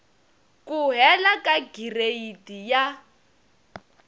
ku hela ka gireyidi ya